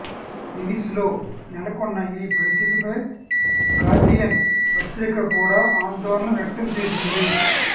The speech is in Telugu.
వెనీస్లో నెలకొన్న ఈ పరిస్థితిపై గార్డియన్ పత్రిక కూడా ఆందోళన వ్యక్తం చేసింది